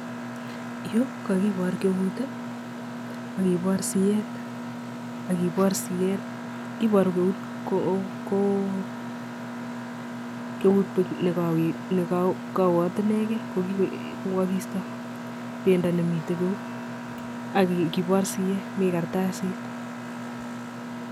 Yu kakibor keut ak kibor sieet iboru keut ko keut buch nekowoot inegei kokakiista bendo nemitei geut ak kibor sieet mi kartasit.